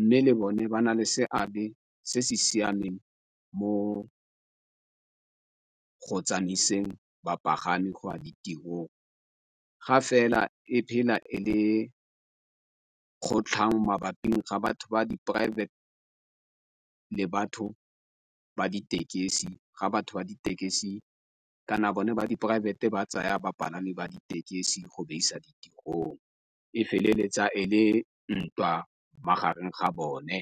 Mme le bone ba na le seabe se se siameng mo go tsamaiseng bapagami go ya ditirong ga fela e phela e le kgotlhang mabapi ga batho ba di poraefete le batho ba ditekesi ga batho ba ditekesi kana bone ba di poraefete ba tsaya bapalami ba ditekesi go ba isa ditirong, e feleletsa e le ntwa magareng ga bone.